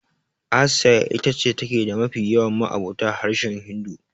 Asiya ita ce take da mafi yawan ma'abota harshen Hindu.